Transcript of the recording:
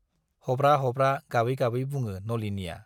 हब्रा-हब्रा गाबै गाबै बुङो नलिनीया।